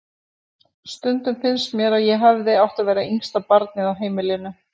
Stundum finnst mér að ég hefði átt að vera yngsta barnið á heimilinu.